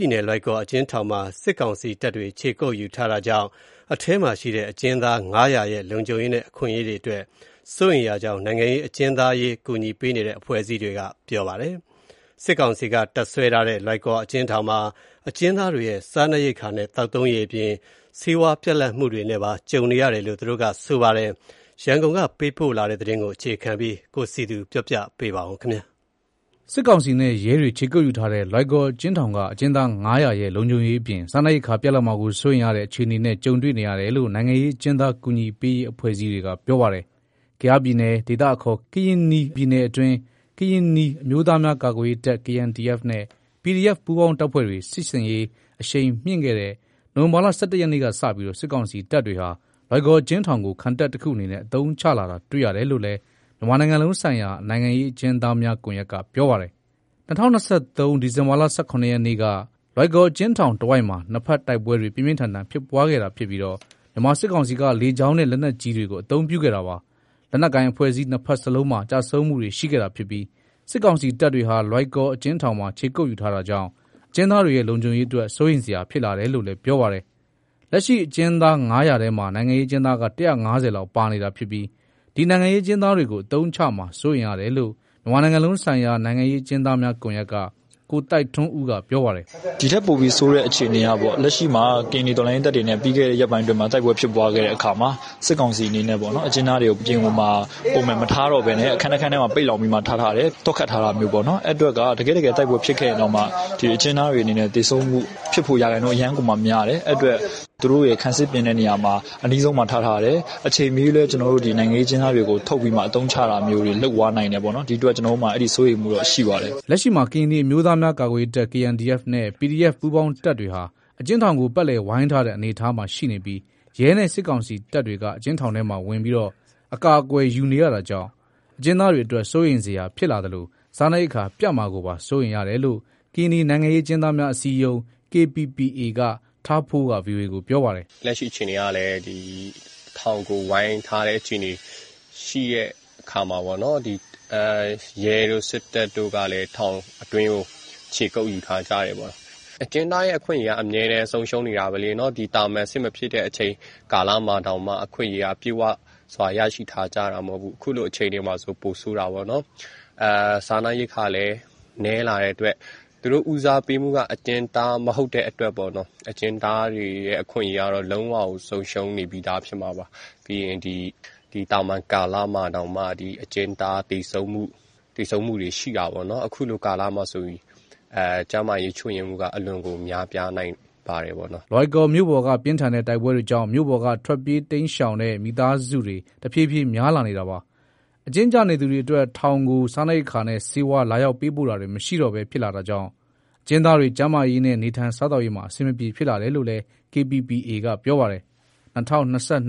ြည်နယ်၊ လွိုင်ကော်အကျဉ်းထောင်မှာ စစ်ကောင်စီတပ်တွေ ခြေကုပ်ယူထားတာကြောင့် အထဲမှာရှိတဲ့ အကျဉ်းသား ၅၀၀ ရဲ့ လုံခြုံရေးနဲ့ အခွင့်အရေးတွေအတွက် စိုးရိမ်ရကြောင်း နိုင်ငံရေးအကျဉ်းသားအရေး အကူညီပေးနေတဲ့ အဖွဲ့အစည်းတွေက ပြောပါတယ်။ စစ်ကောင်စီက တပ်စွဲထားတဲ့ လွိုင်ကော်အကျဉ်း ထောင်မှာ အကျဉ်းသားတွေ့ရဲ့ စားနပ်ရိက္ခာနဲ့ သောက်သုံးရေအပြင် ဆေးဝါးပြတ်လပ်မှုနဲ့ ကြုံနေရပါတယ်။ ရန်ကုန်ကပေးပို့လာတဲ့ သတင်းပေးပို့ချက်ကို အခြေခံပြီး ကိုစည်သူက ပြောပြမှာပါ။ စစ်ကောင်စီနဲ့ရဲတွေ ခြေကုပ်ယူထားတဲ့ လွိုင်ကော်အကျဉ်းထောင်က အကျဉ်းသား ၅၀၀ ရဲ့ လုံခြုံရေး အပြင် စားနပ်ရိက္ခာပြတ်လပ်မှာကို စိုးရိမ်ရတဲ့ အခြေနေနဲ့ ကြုံနေရတယ်လို့ နိုင်ငံရေးအကျဉ်းသား အကူညီပေးရေး အဖွဲ့အစည်းတွေက ပြောပါတယ်။ ကယားပြည်နယ်၊ ဒေသအခေါ် ကရင်နီပြည်နယ် အတွင်း ကရင်နီအမျိုးသားများ ကာကွယ်ရေးတပ် KNDF နဲ့ PDF ပူးပေါင်းတပ်ဖွဲ့တွေ စစ်ဆင်ရေးအရှိန်မြှင့် ခဲ့တဲ့ နိုဝင်ဘာလ ၁၁ ရက်က စပြီး စစ်ကောင်စီတပ်တွေဟာ လွိုင်ကော်အကျဉ်းထောင်ကို ခံတပ်တခုအနေနဲ့ အသုံးချလာတာ တွေ့ရတယ်လို့လည်း မြန်မာနိုင်ငံလုံးဆိုင်ရာ နိုင်ငံရေးအကျဉ်းသားများ ကွန်ရက်က ပြောပါတယ်။ ၂၀၂၃ ဒီဇင်ဘာလ ၁၇ရက်က လွိုင်ကော်အကျဉ်းထောင်တဝိုက်မှာ နှစ်ဘက်တိုက်ပွဲတွေ ပြင်းပြင်းထန်ထန် ဖြစ်ပွားခဲ့တာ ဖြစ်ပြီး မြန်မာစစ်ကောင်စီက လေကြောင်းနဲ့ လက်နက်ကြီးတွေ အသုံးပြုခဲ့တာပါ။ လက်နက်ကိုင် အဖွဲ့အစည်း နှစ်ဘက်စလုံးမှာ ကျဆုံးမှုတွေ ရှိခဲ့တာဖြစ်ပြီး စစ်ကောင်စီတပ်တွေဟာ လွိုင်ကော် အကျဉ်းထောင်မှာ ခြေကုပ်ယူထား တာကြောင့် အကျဉ်းသားတွေရဲ့ လုံခြုံရေးအတွက် စိုးရိမ်စရာ ဖြစ်လာတယ်လို့ လည်း ပြောပါတယ်။ လက်ရှိ အကျဉ်းသား ၅၀၀ထဲမှာ နိုင်ငံရေးအကျဉ်းသားက ၁၅၀ လောက် ပါနေတာ ဖြစ်ပြီး ဒီနိုင်ငံရေး အကျဉ်းသား တွေ ကို အသုံးချမှာ စိုးရိမ်ရတယ်လို့ မြန်မာနိုင်ငံလုံးဆိုင်ရာ နိုင်ငံရေးအကျဉ်းသားများ ကွန်ရက်က ကိုသိုက်ထွန်းဦးက ပြောပါတယ်။ " ဒီထက်ပိုပြီးဆိုးတဲ့အခြေအနေက လက်ရှိမှာ ကရင်နီ တော်လှန်ရေးတပ်တွေနဲ့ ပြီးခဲ့တဲ့ ရက်ပိုင်းအတွင်းမှာ တိုက်ပွဲဖြစ်ပွားခဲ့တဲ့ အခါမှာ စစ်ကောင်စီအနေနဲ့ အကျဉ်းသားတွေကို အပြင်မှာ ပုံမှန်မထားတော့ဘဲနဲ့ အခန်းတခန်းထဲမှာ ပိတ်လှောင်ပြီး ထားထားတယ်၊ သော့ခတ်ထားတာမျိုးပေါ့ နော်။ အဲဒီအတွက် တကယ့်တကယ် တိုက်ပွဲဖြစ်ခဲ့ရင်တောင်မှ အကျဉ်းသားတွေအနေနဲ့ သေဆုံးမှုဖြစ်ဖို့ ရာခိုင်နှုန်း အရမ်းကိုမှများတယ်၊ အဲဒီအတွက် သူတို့ရဲ့ ခံစစ်ပြင်တဲ့နေရာမှာ အနီးဆုံးမှာ ထားထားတယ်။ အချိန်မရွေးလည်း နိုင်ငံရေး အကျဉ်းသားတွေကို ထုတ်ပြီးမှ အသုံးချတာမျိုးတွေ လုပ်သွားနိုင်တယ်ပေါ့နော်။ ဒီအတွက် ကျနော်တို့မှာ အဲဒီစိုးရိမ်မှုတော့ ရှိပါတယ်။" လက်ရှိမှာ ကရင်နီအမျိုးသားများကာကွယ်ရေးတပ် KNDF နဲ့ PDF ပူးပေါင်းတပ်တွေဟာ အကျဉ်းထောင်ကို ပတ်လည်ဝိုင်းထားတဲ့ အနေအထားမှာ ရှိနေပြီး ရဲနဲ့ စစ်ကောင်စီတပ်တွေက အကျဉ်းထောင် ထဲမှာဝင်ပြီး အကာအကွယ်ယူနေတာကြောင့် အကျဉ်းသားတွေအတွက် စိုးရိမ်စရာဖြစ်လာသလို စားနပ်ရိက္ခာ ပြတ်မှာကိုပါ စိုးရိမ်ရတယ်လို့ ကရင်နီနိုင်ငံရေးအကျဉ်းသားများ အစည်းအရုံး KPPA က ထားဖိုးက ဗွီအိုအေကို ပြောပါတယ်။ "လက်ရှိ အခြေနေကလည်း ဒီထောင်ကို ဝိုင်းထားတဲ့ အခြေနေ ရှိတဲ့ အခါမှာ ပေါ့နော်။ ရဲတို့ စစ်တပ်တို့ကလည်း ထောင်အတွင်းကို ခြေကုပ်ယူထားကြတယ်။ အဲ့ဒီမှာ။ ဒီ အကျဉ်းသားရဲ့ အခွင့်အရေးက အမြဲဆုံးရှုံးနေတာပဲလေနော့ သာမန်စစ်မဖြစ်တဲ့ အချိန်ကာလမှာတောင်မှ အခွင့်အရေးက ပြည့်ဝစွာ ရရှိထားကြတာမဟုတ်ဘူး။ အခုလိုအခြေအနေမှာ ပိုဆိုးတာပေါ့နော်။ စားနပ်ရိက္ခာလည်း နည်းလာတဲ့အတွက် သူတို့ဦးစားပေးမှုက အကျဉ်းသား မဟုတ်တဲ့အတွက်ပေါ့ အကျဉ်းသားတွေရဲ့ အခွင့်အရေးကတော့ လုံးဝကို ဆုံးရှုံးနေပြီးသား ဖြစ်မှာပါ။ ပြီးရင် သာမန်ကာလမှာတောင်မှ အကျဉ်းသားသေဆုံးမှုတွေ ရှိတာပေါ့နော်၊ အခုလိုကာလမှာ ကျန်းမာရေး ချွတ်ယွင်းမှုက အလွန်ကို များပြားနိုင်ပါတယ်။" လွိုင်ကော်မြို့ပေါ်က ပြင်းထန်တဲ့ တိုက်ပွဲတွေကြောင့် မြို့ပေါ်က ထွက်ပြေး တိမ်းရှောင်တဲ့ မိသားစုတွေ တဖြည်းဖြည်းများလာနေတာပါ။ အကျဉ်းကျနေသူတွေ အတွက် ထောင်ကို စားနပ်ရိက္ခာနဲ့ ဆေးဝါး လာရောက် ပေးပို့တာတွေ မရှိတော့ပဲ ဖြစ်လာတာကြောင့် အကျဉ်းသားတွေ ကျန်းမာရေးနဲ့ နေထိုင်စားသောက်ရေးမှာ အဆင်မပြေ ဖြစ်လာနိုင်တယ် လို့လည်း KPPA က ပြောပါတယ်။ ၂၀၂၂ ခုနှစ် ဇန်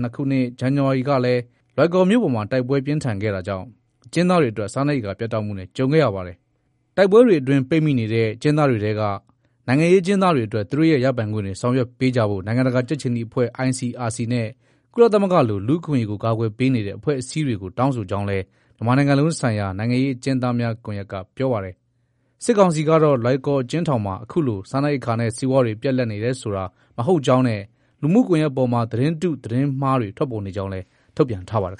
နဝါရီလကလည်း လွိုင်ကော်မြို့ပေါ်မှာ တိုက်ပွဲ ပြင်းပြင်းထန်ထန် ဖြစ်ပွားခဲ့တာကြောင့် အကျဉ်းသားတွေအတွက် စားနပ်ရိက္ခာ ပြတ်တောက်မှုနဲ့ ကြုံခဲ့ရတာပါ။ တိုက်ပွဲတွေ အတွင်း ပိတ်မိနေတဲ့ အကျဉ်းထောင်တွေထဲက နိုင်ငံရေးအကျဉ်းသား တွေအတွက် သူတို့ရဲ့ ရပိုင်ခွင့်တွေ ဆောင်ရွက်ပေးကြဖို့ နိုင်ငံတကာကြက်ခြေနီအဖွဲ့ ICRC နဲ့ ကုလသမဂ္ဂလို လူ့အခွင့်အရေးကို ကာကွယ် ပေးနေတဲ့ အဖွဲ့အစည်းတွေကို တောင်းဆိုကြောင်းလည်း မြန်မာနိုင်ငံလုံးဆိုင်ရာ နိုင်ငံရေးအကျဉ်းသားများ ကွန်ရက်က ပြောပါတယ်။ စစ်ကောင်စီကတော့ လွိုင်ကော်အကျဉ်းထောင်မှာ အခုလို စားနပ်ရိက္ခာနဲ့ ဆေးဝါးတွေ ပြတ်လပ်နေတယ်ဆို မဟုတ်ကြောင်းနဲ့ လူမှုကွန်ရက်ပေါ်မှာ သတင်းတု၊ သတင်းမှားတွေ ထွက်ပေါ်နေကြောင်း ထုတ်ပြန်ထားပါတယ်